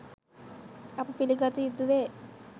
අප පිළිගත යුතුවේ